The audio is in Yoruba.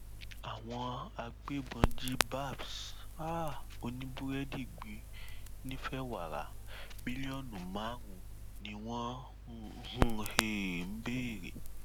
àwọn agbébọn jí babs um oníbúrẹdì gbé nìfẹwàrà mílíọnù márùnún ni wọn um ń béèrè